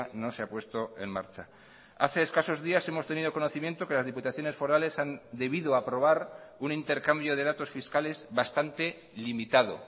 no se ha puesto en marcha hace escasos días hemos tenido conocimiento que las diputaciones forales han debido aprobar un intercambio de datos fiscales bastante limitado